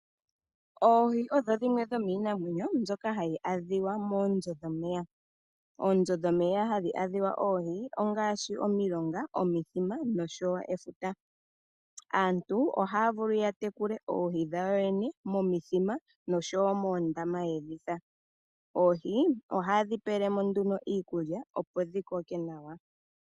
Oohi odho dhimwe dhomiinamwenyo ndyoka hayi adhika moombyo dhomeya. Oombyo dhomeya hadhi adhika oohi ongaashi omilonga, omithima noshowo efuta. Aantu ohaya vulu yatekule oohi dhawo yene momithima noshowo moondama. Oohi ohaye dhi pele mo iikulya opo dhikoke nawa.